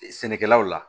Sɛnɛkɛlaw la